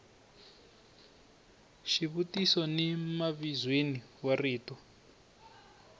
xivutiso ni mavizweni wa rito